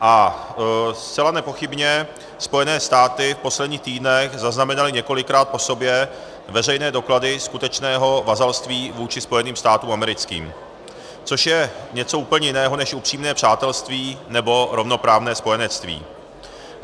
A zcela nepochybně Spojené státy v posledních týdnech zaznamenaly několikrát po sobě veřejné doklady skutečného vazalství vůči Spojeným státům americkým, což je něco úplně jiného než upřímné přátelství nebo rovnoprávné spojenectví.